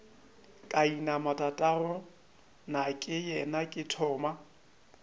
ka inama tatagonakeyena ke thoma